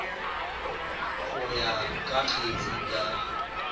go ya ka kgetse ka